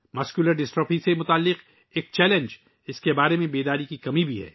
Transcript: muscular dystrophy سے جڑا ایک چیلنج ، اس کے بارے میں آگاہی کی کمی بھی ہے